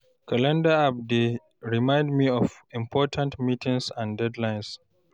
Calendar app dey remind me of important meetings and deadlines.